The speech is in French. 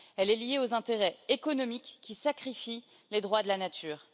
Elle est liée aux intérêts économiques qui sacrifient les droits de la nature.